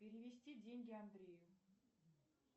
перевести деньги андрею